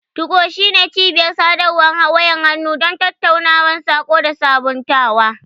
2go shine cibiyar sadarwar wayar hannu don tattaunawa, saƙo, da sabuntawa.